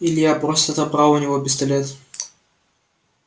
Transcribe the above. илья просто отобрал у него пистолет